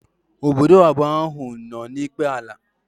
Ọbọdọ na abụọ áhù no n'ikpe ala